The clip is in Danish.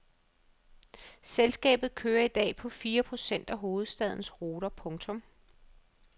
Selskabet kører i dag på fire procent af hovedstadens ruter. punktum